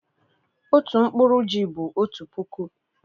otu nkpuru ji bụ otu puku